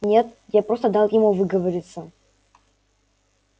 нет я просто дал ему выговориться